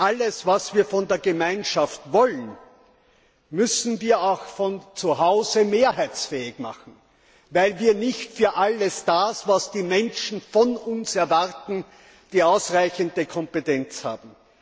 Alles, was wir von der Gemeinschaft wollen, müssen wir auch zu Hause mehrheitsfähig machen, weil wir nicht für alles das, was die Menschen von uns erwarten, die ausreichende Kompetenz haben.